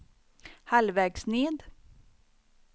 halvvägs ned